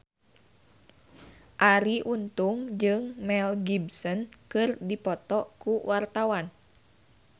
Arie Untung jeung Mel Gibson keur dipoto ku wartawan